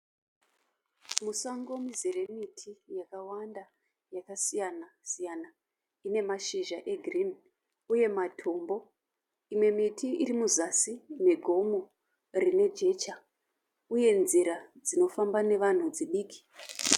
Musango mizere miti yakawanda yakasiyana siyana, ine mashizha egreen uye matombo, imwe miti iri muzasi megomo rine jecha uye nzira dzinofamba nevanhu dzidiki.